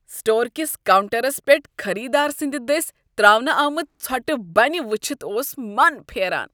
Store کس counters پیٹھخریدار سٕنٛد دٔسۍ ترٛاونہٕ آمٕژ ژھۄٹہٕ بنہٕ وٕچھتھ اوس من پھیران۔